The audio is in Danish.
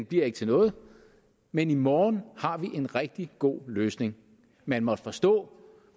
bliver ikke til noget men i morgen har vi en rigtig god løsning man måtte forstå